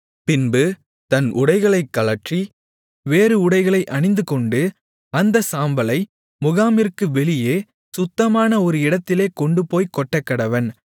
பின்பு தன் உடைகளைக் கழற்றி வேறு உடைகளை அணிந்துகொண்டு அந்தச் சாம்பலை முகாமிற்கு வெளியே சுத்தமான ஒரு இடத்திலே கொண்டுபோய்க் கொட்டக்கடவன்